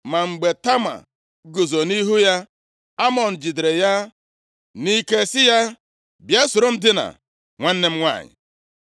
Ma mgbe Tama guzo nʼihu ya, Amnọn jidere ya nʼike sị ya, “Bịa, soro m dinaa, nwanne m nwanyị.”